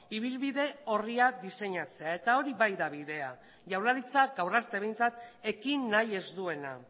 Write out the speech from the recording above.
ibilbide orriak diseinatzea eta hori bai da bidea jaurlaritzak gaur arte behintzat ekin nahi ez duena